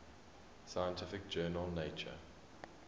scientific journal nature